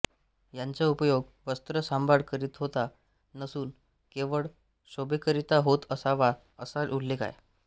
यांचा उपयोग वस्त्र सांभाळ करीता होत नसून केवळ शोभेकरीता होत असावाअसा उलेख आहे